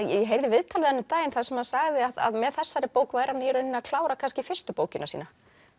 ég heyrði viðtal við hann um daginn þar sem hann sagði að með þessari bók væri hann að klára kannski fyrstu bókina sína